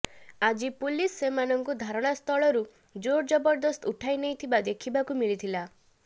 ଆଜି ପୁଲିସ ସେମାନଙ୍କୁ ଧାରଣାସ୍ଥଳରୁ ଜୋରଜବରଦସ୍ତ ଉଠାଇ ନେଇଥିବା ଦେଖିବାକୁ ମିଳିଥିଲା